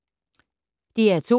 DR2